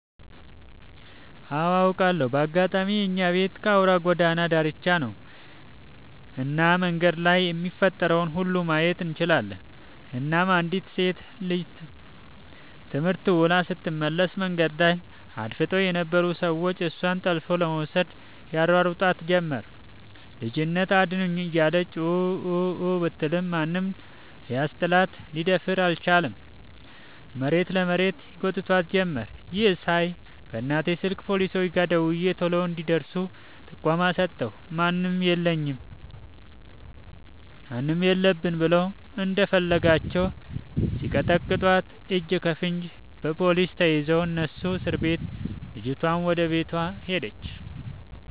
አዎ አውቃለሁ በአጋጣሚ የኛቤት ከአውራ ጎዳና ዳርቻ ነው። እና መንገድ ላይ የሚፈጠረውን ሁሉ ማየት እንችላለን እናም አንዲት ሴት ልጅ ትምህርት ውላ ስትመለስ መንገድ ዳር አድፍጠው የነበሩ ሰዎች እሷን ጠልፈው ለመውሰድ ያሯሩጧት ጀመር ልጅት አድኑኝ እያለች ኡኡኡ ብትልም ማንም ሊያስጥላት ሊደፍር አልቻለም መሬት ለመሬት ይጎትቷት ጀመር ይህን ሳይ በእናቴ ስልክ ፓሊሶች ጋር ደውዬ ቶሎ እንዲ ደርሱ ጥቆማ ሰጠሁ። ማንም የለብን ብለው እንደፈለጋቸው ሲቀጠቅጧት እጅከፈንጂ በፓሊስ ተይዘው እነሱም እስርቤት ልጅቷም ወደ ቤቷ ሄደች።